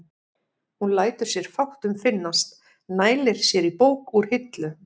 Hún lætur sér fátt um finnast, nælir sér í bók úr hillu.